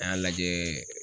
A y'a lajɛ